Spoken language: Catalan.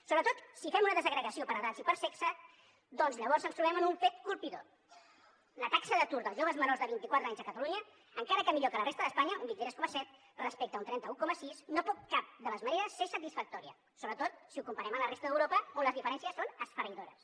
sobretot si fem una desagregació per edats i per sexe doncs llavors ens trobem amb un fet colpidor la taxa d’atur dels joves menors de vint i quatre anys a catalunya encara que millor que a la resta d’espanya un vint tres coma set respecte a un trenta un coma sis no pot de cap de les maneres ser satisfactòria sobretot si ho comparem amb la resta d’europa on les diferències són esfereïdores